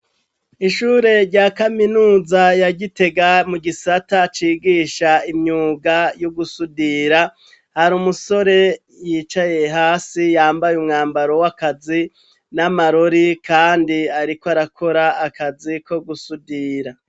Ishure rya kaminuza ya Gitega gitega, mu gisata cigisha imyuga yo gusudira, hari umusore yicaye hasi, yambaye umwambaro w'akazi n'amarori, kandi ariko arakora akazi ko gusudira.